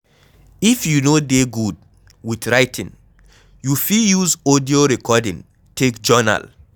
if you no dey good with writing, you fit use audio recording take journal